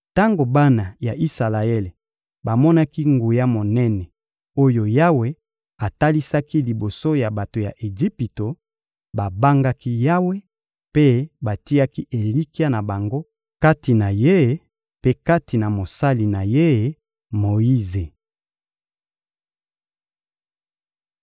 Tango bana ya Isalaele bamonaki nguya monene oyo Yawe atalisaki liboso ya bato ya Ejipito, babangaki Yawe mpe batiaki elikya na bango kati na Ye mpe kati na mosali na Ye Moyize.